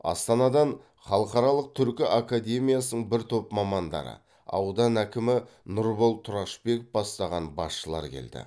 астанадан халықаралық түркі академиясының бір топ мамандары аудан әкімі нұрбол тұрашбеков бастаған басшылар келді